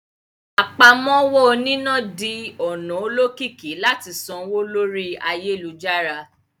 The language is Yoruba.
Àpámọ́wọ́ oníná di ọ̀nà olókìkí láti sanwó lórí ayélujára